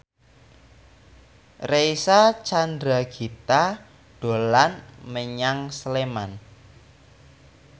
Reysa Chandragitta dolan menyang Sleman